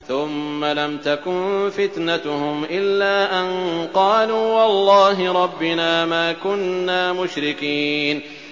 ثُمَّ لَمْ تَكُن فِتْنَتُهُمْ إِلَّا أَن قَالُوا وَاللَّهِ رَبِّنَا مَا كُنَّا مُشْرِكِينَ